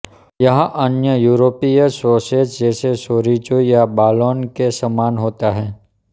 यह अन्य यूरोपीय सॉसेज जैसे चोरिजो या बालोने के समान होता है